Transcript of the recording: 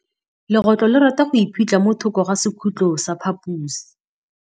Legôtlô le rata go iphitlha mo thokô ga sekhutlo sa phaposi.